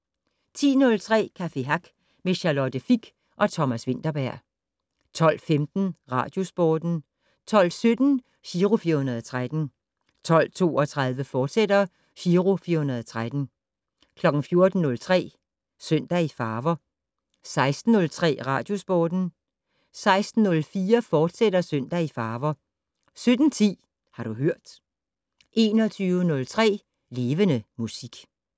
10:03: Café Hack med Charlotte Fich og Thomas Vinterberg 12:15: Radiosporten 12:17: Giro 413 12:32: Giro 413, fortsat 14:03: Søndag i farver 16:03: Radiosporten 16:04: Søndag i farver, fortsat 17:10: Har du hørt 21:03: Levende Musik